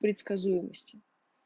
предсказуемости